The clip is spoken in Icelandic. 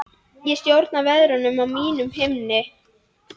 Ég stjórna veðrunum á mínum himni.